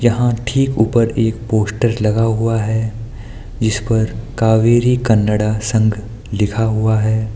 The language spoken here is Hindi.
यहां ठीक ऊपर एक पोस्टर लगा हुआ है जिस पर कावेरी कन्नड़ संघ लिखा हुआ है।